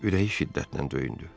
Ürəyi şiddətlə döyündü.